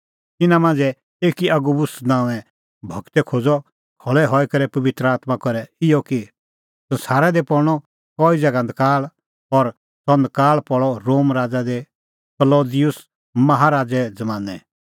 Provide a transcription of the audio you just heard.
तिन्नां मांझ़ै एकी अगबुस नांओंए गूरै खोज़अ खल़ै हई करै पबित्र आत्मां करै इहअ कि संसारा दी पल़णअ कई ज़ैगा नकाल़ और सह नकाल़ पल़अ रोम राज़ा दी क्लौदिउस माहा राज़े ज़मानैं